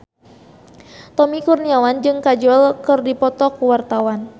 Tommy Kurniawan jeung Kajol keur dipoto ku wartawan